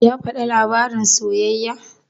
Ya faɗi labarin soyayyar?